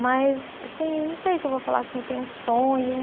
Mas, assim, não sei se eu vou falar assim, eu tenho um sonho.